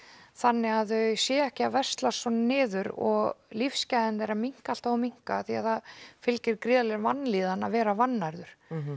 þannig að þau séu ekki að veslast svona niður og lífsgæði þeirra minnka alltaf og minnka því það fylgir gríðarleg vanlíðan að vera vannærður